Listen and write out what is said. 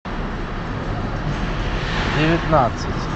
девятнадцать